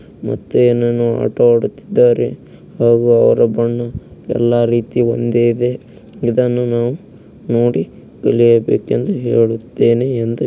ಮತ್ತೆ ಏನನ್ನುಆಟ ಆಡುತ್ತಿದ್ದಾರೆ ಹಾಗು ಅವರ ಬಣ್ಣ ಎಲ್ಲಾ ರೀತಿ ಒಂದೇ ಇದೆ ಇದನ್ನು ನಾವು ನೋಡಿ ತಿಲಿಯಬೇಕೆಂದು ಹೇಳುತ್ತೆನೆ ಎಂದು--